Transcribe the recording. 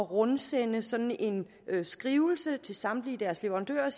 rundsende sådan en skrivelse til samtlige deres leverandører